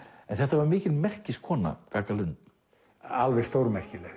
en þetta var mikil gagga Lund já alveg stórmerkileg